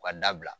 U ka dabila